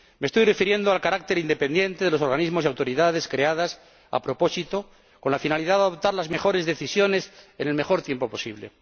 Me estoy refiriendo al carácter independiente de los organismos y autoridades creados con la finalidad de adoptar las mejores decisiones en el menor tiempo posible.